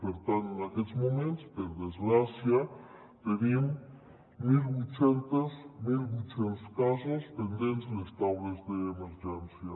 per tant en aquests moments per desgràcia tenim mil vuit cents casos pendents de les taules d’emergència